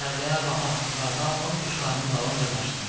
Çöllərdə, bataqlıqlarda ov quşlarının dalınca qaçdım.